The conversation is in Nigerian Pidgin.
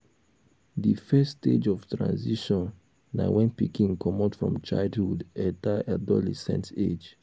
di first stage of transition na when pikin comot from childhood enter adolescent age um